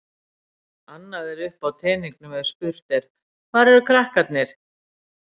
Annað er uppi á teningnum ef spurt er: hvar eru krakkarnir?